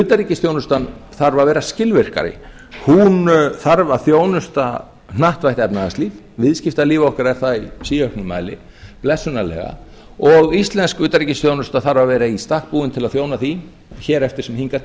utanríkisþjónustan þarf að vera skilvirkari hún þarf að þjónusta hnattvætt efnahagslíf viðskiptalíf okkar er það í síauknum mæli blessunarlega og íslensk utanríkisþjónusta þarf að vera í stakk búin til að þjóna því hér eftir sem hingað